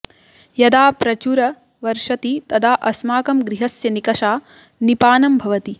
यदा प्रचुर वर्षति तदा अस्माकं गृहस्य निकषा निपानं भवति